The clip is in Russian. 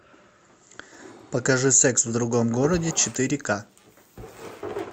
покажи секс в другом городе четыре ка